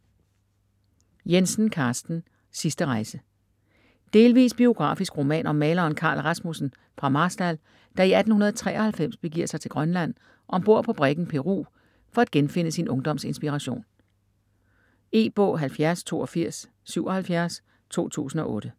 Jensen, Carsten: Sidste rejse Delvis biografisk roman om maleren Carl Rasmussen fra Marstal, der i 1893 begiver sig til Grønland om bord på briggen Peru for at genfinde sin ungdoms inspiration. E-bog 708277 2008.